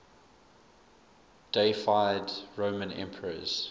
deified roman emperors